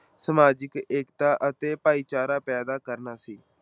ਸਮਾਜਿਕ ਏਕਤਾ ਅਤੇ ਭਾਈਚਾਰਾ ਪੈਦਾ ਕਰਨਾ ਸੀ।